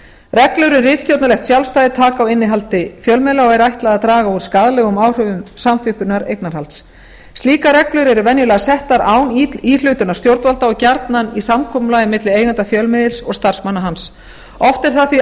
reglur um ritstjórnarlegt sjálfstæði taka á innihaldi fjölmiðla og er ætlað að draga úr skaðlegum áhrifum samþjöppunar eignarhalds slíkar reglur eru venjulega settar án íhlutunar stjórnvalda og gjarnan í samkomulagi milli eigenda fjölmiðils og starfsmanna hans oft er það þá